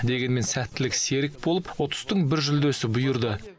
дегенмен сәттілік серік болып ұтыстың бір жүлдесі бұйырды